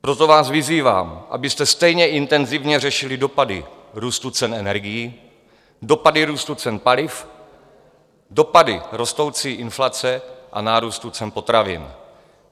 Proto vás vyzývám, abyste stejně intenzivně řešili dopady růstu cen energií, dopady růstu cen paliv, dopady rostoucí inflace a nárůstu cen potravin.